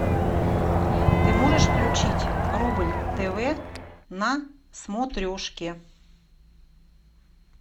ты можешь включить рубль тв на смотрешке